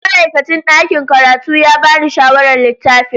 Ma'aikacin ɗakin karatu ya ba ni shawarar littafin.